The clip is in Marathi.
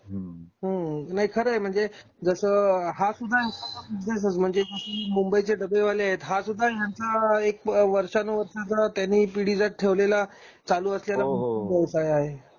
हम्म हम्म नाही खर आहे म्हणजे जस हा सुद्धा एखादा बिज़नेस च. म्हणजे मुंबईचे डब्बे वाले आहेत हा सुद्धा ह्यांचा एक वर्षानुवर्ष त्यांनी पीडीजात ठेवलेला चालू असलेला हो हो हो व्यवसाय आहे